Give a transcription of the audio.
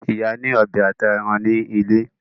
Ìyá ní ọbẹ ata èràn ní ilé.